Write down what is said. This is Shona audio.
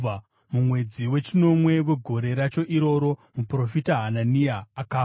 Mumwedzi wechinomwe wegore racho iroro, muprofita Hanania akafa.